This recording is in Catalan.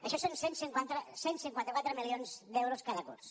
això són cent i cinquanta quatre milions d’euros cada curs